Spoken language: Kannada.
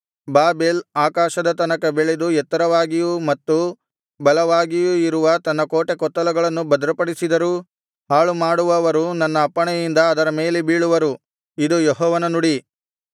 ಬಾಬೆಲ್ ಆಕಾಶದ ತನಕ ಬೆಳೆದು ಎತ್ತರವಾಗಿಯೂ ಮತ್ತು ಬಲವಾಗಿಯೂ ಇರುವ ತನ್ನ ಕೋಟೆಕೊತ್ತಲಗಳನ್ನು ಭದ್ರಪಡಿಸಿದರೂ ಹಾಳುಮಾಡುವವರು ನನ್ನ ಅಪ್ಪಣೆಯಿಂದ ಅದರ ಮೇಲೆ ಬೀಳುವರು ಇದು ಯೆಹೋವನ ನುಡಿ